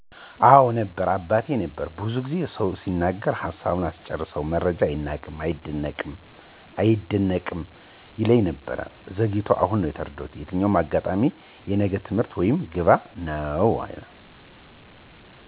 አወ ነበር አባቴ ነበር። ብዙ ጊዜ ሰው ሲናገር ሀሳቡን አስጨርሰው መረጃ አይናቅም አይደነቅም ይለኝ ነበር። ዘግይቶ አሁን ተረዳሁት የትኛውም አጋጣሚ የነገ ትምህርት ወይም ግባት ነው።